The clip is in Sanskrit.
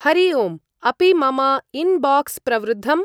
हरि ओम्! अपि मम इन्बाक्स् प्रवृद्धम्?